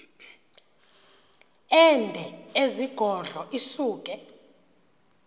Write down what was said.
ende ezigodlo isuke